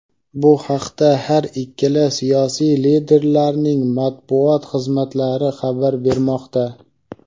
Bu haqda har ikkala siyosiy liderlarning Matbuot xizmatlari xabar bermoqda.